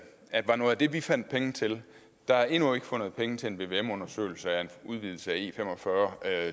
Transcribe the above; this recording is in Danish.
var noget af det vi fandt penge til der er endnu ikke fundet penge til en vvm undersøgelse af en udvidelse af e45